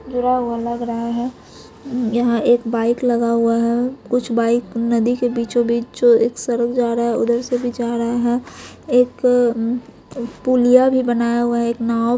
लग रहा है यहाँ एक बाइक लगा हुआ है कुछ बाइक नदी के बीचो- बीचो जो एक सड़क जा रहा है उधर से भी जा रहा है एक अ पुलिया भी बनाया हुआ है एक नाव ---